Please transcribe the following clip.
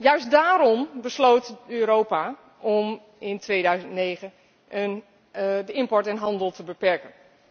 Juist daarom besloot Europa in 2009 om de import en handel te beperken.